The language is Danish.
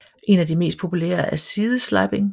En af de mest populære er sideslipping